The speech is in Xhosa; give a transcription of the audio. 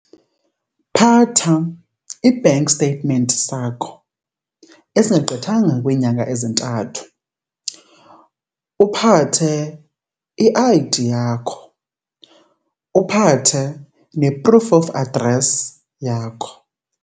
Phatha i-bank statement sakho esingagqithanga kwiinyanga ezintathu, uphathe i-I_D yakho, uphathe ne-proof of address yakho.